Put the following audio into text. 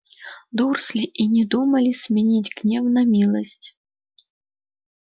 дурсли и не думали сменить гнев на милость